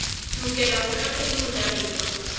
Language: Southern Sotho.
lokela ho tlatswa ke bajalefa